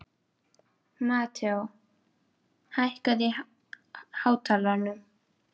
Mateó, hækkaðu í hátalaranum.